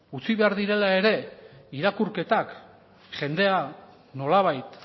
utzi behar direla ere irakurketak jendea nolabait